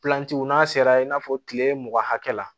Pilanci n'a sera i n'a fɔ kile mugan hakɛ la